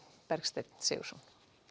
Bergsteinn Sigurðsson